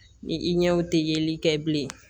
Ni i ɲɛw tɛ yeli kɛ bilen